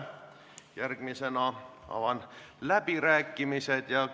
Järgmisena avan läbirääkimised.